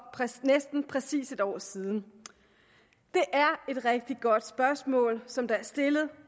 næsten præcis en år siden det er et rigtig godt spørgsmål som der er stillet